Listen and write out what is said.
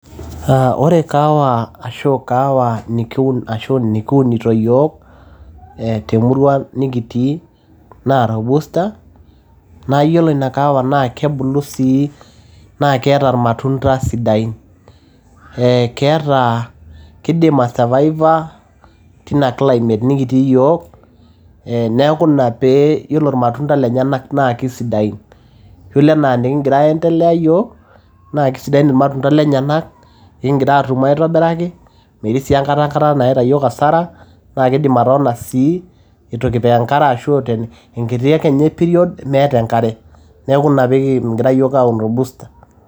Ore kahawa nikiunito iyiok, temurua nikitii naa Rubuster, naa iyiolo ina kahawa naa kebulu sii naa keata ilmatunda sidain. Ee keidim aisurvivor tena climate nikitii iyiok. Neaku ina pee iyiolo ilmatunda lenyena naa keisidain. Iyiolo anaa enikigira aiendelea iyiok, naa keisidain ilmatunda lenyenak nikigira aatum aitobiraki, metii sii aikata nayaita iyiok asara, naa keidim atotona sii itu kipik enkare ashu enkiti ake period meata enkare. Neaku ina pee kingira iyiok aun rubuster,